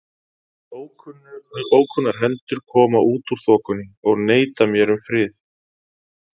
En ókunnar hendur koma út úr þokunni og neita mér um frið.